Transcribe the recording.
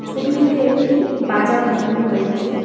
ছবিটিতে একটি বাজার দেখানো হয়েছে।